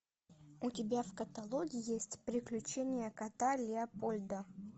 у тебя в каталоге есть приключения кота леопольда